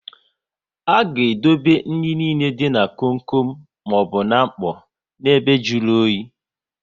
Aga edobe nri nile dị na kom kom maọbụ n'mkpọ na ebe jụrụ oyi